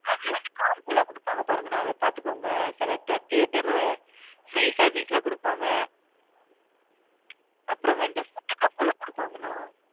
அது வந்து combo லாம் குடுப்பாங்க பாருங்கன்னா அதா பாத்துகோங்க சிலா theatre free service லாம் குடுப்பாங்க அப்பறம் வந்து food cup லாம் குடுப்பாங்க.